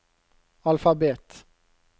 alfabet